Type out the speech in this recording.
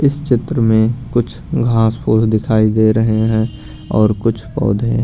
इस चित्र में कुछ घास फोस दिखाई दे रहे हैं और कुछ पौधे --